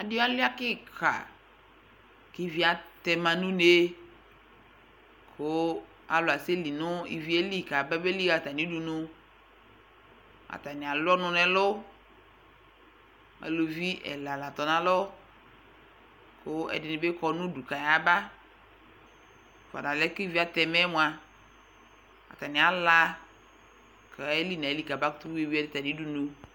Adɩ alʋɩa kɩka kʋ ivi atɛ ma nʋ une kʋ alʋ asɛli nʋ ivi yɛ li kabeli ɣa atamɩ udunu Atanɩ alʋ ɔnʋ ɛlʋ Aluvi ɛla la tɔ nʋ alɔ kʋ ɛdɩnɩ bɩ kɔ nʋ udu kʋ ayaba Fʋadʋ alɛna yɛ kʋ ivi atɛma yɛ mʋa, atanɩ ala kʋ ayeli nʋ ayili kabakʋtʋ yui atamɩ udunu